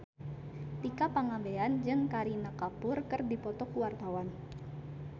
Tika Pangabean jeung Kareena Kapoor keur dipoto ku wartawan